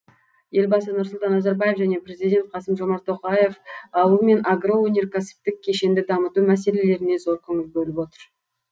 елбасы нұрсұлтан назарбаев және президент қасым жомарт тоқаев ауыл мен агроөнеркәсіптік кешенді дамыту мәселелеріне зор көңіл бөліп отыр